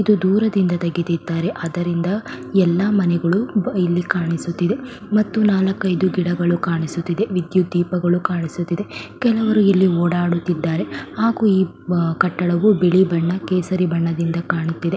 ಇದು ದೂರದಿಂದ ತೆಗೆದಿದ್ದಾರೆ ಅದರಿಂದ ಎಲ್ಲ ಮನೆಗಳು ಇಲ್ಲಿ ಕಾಣಿಸುತ್ತಿದೆ ಮತ್ತು ನಾಲ್ಕೈದು ಗಿಡಗಳು ಕಾಣಿಸುತ್ತಿದೆ ವಿದ್ಯುತ್ ದೀಪಗಳು ಕಾಣಿಸುತ್ತಿದೆ ಕೆಲವರು ಇಲ್ಲಿ ಓಡಾಡುತ್ತಿದ್ದಾರೆ ಹಾಗು ಈ ಕಟ್ಟಡವು ಬಿಳಿ ಹಾಗು ಕೇಸರಿ ಬಣ್ಣದಿಂದ ಕಾಣುತ್ತಿದೆ .